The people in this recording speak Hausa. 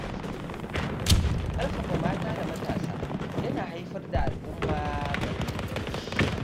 Ƙarfafa mata da matasa yana haifar da al’umma mai inganci.